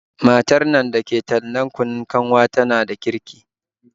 Matar nan da ke tallan kunun kanwa tana da kirki